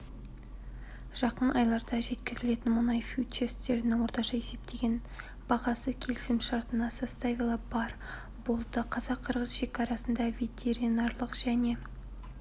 жақын айларда жеткізілетін мұнай фьючерстерінің орташа есептеген бағасы келісімшартына составила барр болды қазақ-қырғыз шекарасында ветеринарлық және